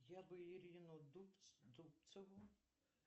я бы ирину дубцову